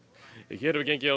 hér hefur gengið á